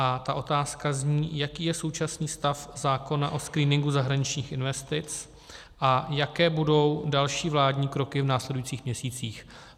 A ty otázky zní, jaký je současný stav zákona o screeningu zahraničních investic a jaké budou další vládní kroky v následujících měsících.